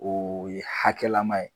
O ye hakɛlama ye.